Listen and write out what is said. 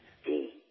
বহুত ভাল লাগে